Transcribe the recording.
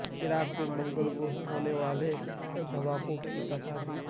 عراق میں منگل کو ہونے والے دھماکوں کی تصاویر